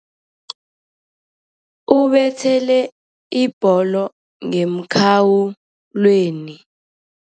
Ubethele ibholo ngemkhawulweni.